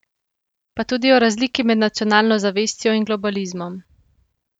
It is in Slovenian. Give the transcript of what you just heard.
Pa tudi o razliki med nacionalno zavestjo in globalizmom.